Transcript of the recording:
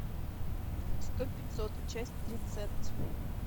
сто пятьсот часть тридцать